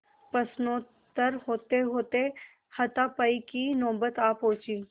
प्रश्नोत्तर होतेहोते हाथापाई की नौबत आ पहुँची